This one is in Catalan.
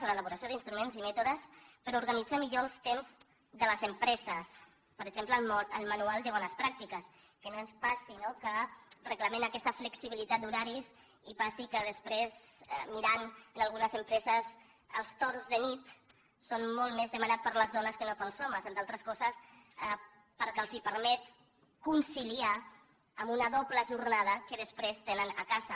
l’elaboració d’instruments i mètodes per organitzar millor els temps de les empreses per exemple el manual de bones pràctiques que no ens passi no que reclamem aquesta flexibilitat d’horaris i passi que després mirant en algunes empreses els torns de nit són molt més demanats per les dones que no pels homes entre altres coses perquè els permet conciliar lo amb una doble jornada que després tenen a casa